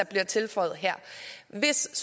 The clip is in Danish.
bliver tilføjet her hvis